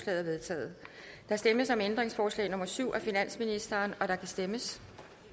er vedtaget der stemmes om ændringsforslag nummer syv af finansministeren og der kan stemmes